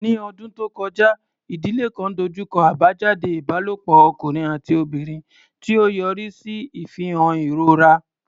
Ní ọdún tó kọjá, ìdílé kan dojú kọ àbájáde ìbálòpọ̀ ọkùnrin àti obìnrin, tí ó yọrí sí ìfihàn ìrora.